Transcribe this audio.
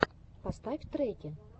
поставь треки